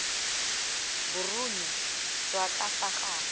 boruni jwa ka fa gare